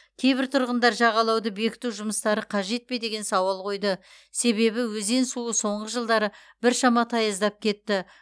кейбір тұрғындар жағалауды бекіту жұмыстары қажет пе деген сауал қойды себебі өзен суы соңғы жылдары біршама таяздап кетті